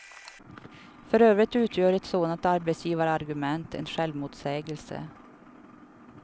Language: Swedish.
För övrigt utgör ett sådant arbetsgivarargument en självmotsägelse.